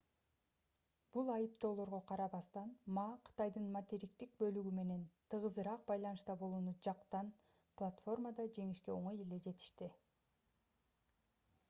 бул айыптоолорго карабастан ма кытайдын материктик бөлүгү менен тыгызыраак байланышта болууну жактан платформада жеңишке оңой эле жетишти